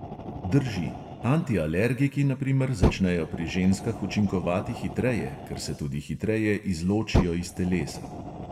Drži: antialergiki na primer začnejo pri ženskah učinkovati hitreje, ker se tudi hitreje izločijo iz telesa.